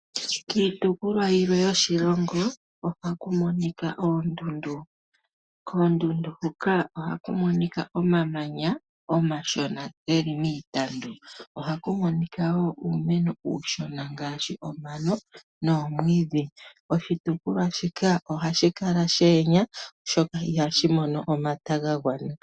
Kiitopolwa yilwe yoshilongo ohaku monika oondundu. Koondundu huka ohaku monika omamanya omashona geli miitandu . Ohaku monika woo uumeno uushona ngaashi omano nomwiidhi . Oshitukulwa shika ohashi kala she enya sho ihashi mono omata ga gwana